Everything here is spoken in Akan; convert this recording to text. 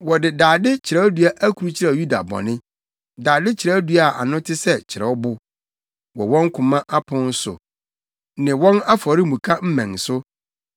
“Wɔde dade kyerɛwdua akrukyerɛw Yuda bɔne, dade kyerɛwdua a ano te sɛ kyerɛwbo, wɔ wɔn koma apon so ne wɔn afɔremuka mmɛn so.